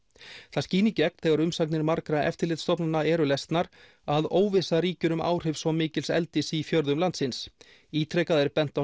það skín í gegn þegar umsagnir margra eftirlitsstofnana eru lesnar að óvissa ríkir um áhrif svo mikils eldis í fjörðum landsins ítrekað er bent á